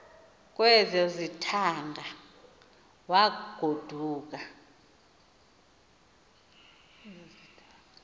kwezo zithaanga wagoduka